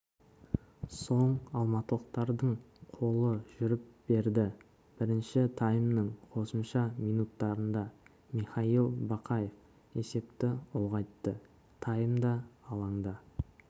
соң алматылықтардың қолы жүріп берді бірінші таймның қосымша минуттарында михаил бақаев есепті ұлғайтты таймда алаңда